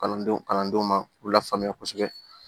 Kalandenw kalandenw ma k'u la faamuya kosɛbɛ